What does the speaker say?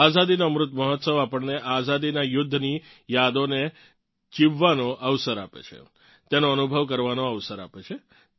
આઝાદીનો અમૃત મહોત્સવ આપણને આઝાદીનાં યુધ્ધની યાદોને જીવવાનો અવસર આપે છે તેનો અનુભવ કરવાનો અવસર આપે છે